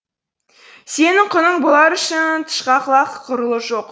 сенің құның бұлар үшін тышқақ лақ ғұрлы жоқ